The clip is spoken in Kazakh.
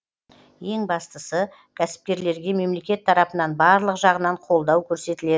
ең бастысы кәсіпкерлерге мемлекет тарапынан барлық жағынан қолдау көрсетіледі